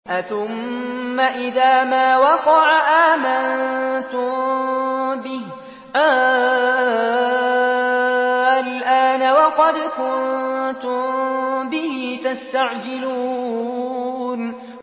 أَثُمَّ إِذَا مَا وَقَعَ آمَنتُم بِهِ ۚ آلْآنَ وَقَدْ كُنتُم بِهِ تَسْتَعْجِلُونَ